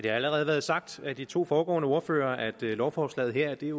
allerede været sagt af de to foregående ordførere at lovforslaget her er